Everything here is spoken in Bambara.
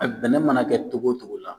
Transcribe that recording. A bɛnɛ mana kɛ cogo cogo la